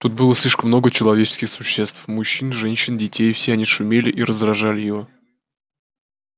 тут было слишком много человеческих существ мужчин женщин детей все они шумели и раздражали его